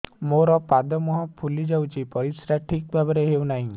ମୋର ପାଦ ମୁହଁ ଫୁଲି ଯାଉଛି ପରିସ୍ରା ଠିକ୍ ଭାବରେ ହେଉନାହିଁ